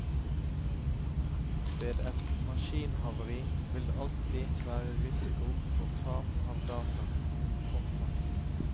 Ved et maskinhavari vil det alltid være risiko for tap av data. punktum